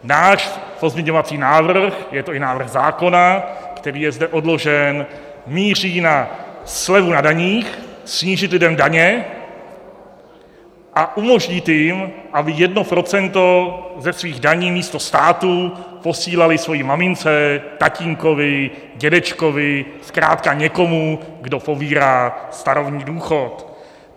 Náš pozměňovací návrh, je to i návrh zákona, který je zde odložen, míří na slevu na daních, snížit lidem daně a umožnit jim, aby jedno procento ze svých daní místo státu posílali své mamince, tatínkovi, dědečkovi, zkrátka někomu, kdo pobírá starobní důchod.